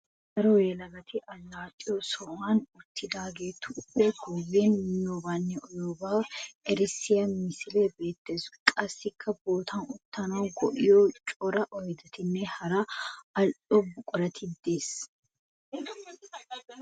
Daro yelagatti alaxxiyo sohuwan uttidagettu guyen miyobanne uyiyooba erissiya misilee beetees. Qassikka bootta uttanawu go'iya cora oyddettinne hara ali'o buquray de'ees.